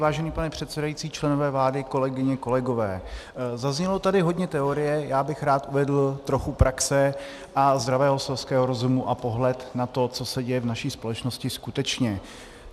Vážený pane předsedající, členové vlády, kolegyně, kolegové, zaznělo tady hodně teorie, já bych rád uvedl trochu praxe a zdravého selského rozumu a pohled na to, co se děje v naší společnosti skutečně.